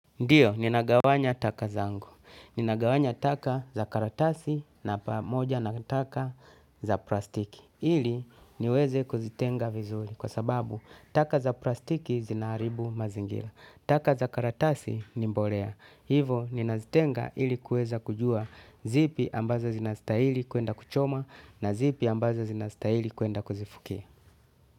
Ndiyo, ninagawanya taka zangu. Ninagawanya taka za karatasi na pamoja na taka za plastiki. Hili niweze kuzitenga vizuli kwa sababu taka za plastiki zinaharibumazingila. Taka za karatasi ni mbolea. Hivo, ninazitenga hili kueza kujua zipi ambazo zinastahili kuenda kuchoma na zipi ambazo zinastahili kuenda kuzifukia.